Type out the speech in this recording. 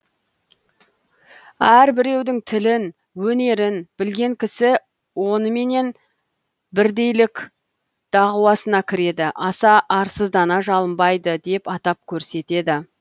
әр біреудің тілін өнерін білген кісі оныменен бірдейлік дағуасына кіреді аса арсыздана жалынбайды деп атап көрсетеді